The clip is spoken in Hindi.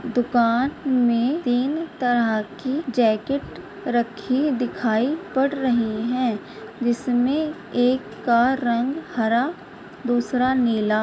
दुकान में तीन तरह की जैकेट रखी दिखाई पड़ रही है जिसमे एक का रंग हरा दूसरा नीला --